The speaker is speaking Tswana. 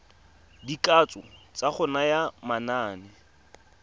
dikatso tsa go naya manane